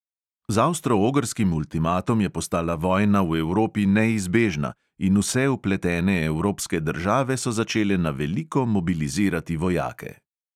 Z avstro-ogrskim ultimatom je postala vojna v evropi neizbežna in vse vpletene evropske države so začele na veliko mobilizirati vojake.